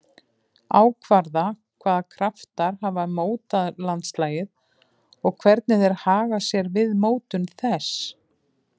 Ákvarða hvaða kraftar hafa mótað landslagið og hvernig þeir haga sér við mótun þess.